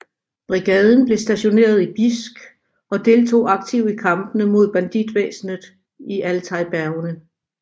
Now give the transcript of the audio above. Brigaden blev stationeret i Bijsk og deltog aktivt i kampene mod banditvæsenet i Altaj bjergene